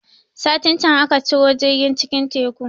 Satin can aka ciro jirgin cikin Teku